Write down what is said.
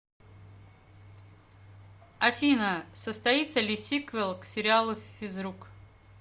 афина состоится ли сиквел к сериалу физрук